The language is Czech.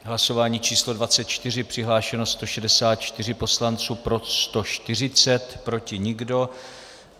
Hlasování číslo 24, přihlášeno 164 poslanců, pro 140, proti nikdo.